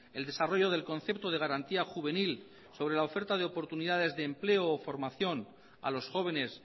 el desarrollo del concepto de garantía juvenil sobre la oferta de oportunidades de empleo o formación a los jóvenes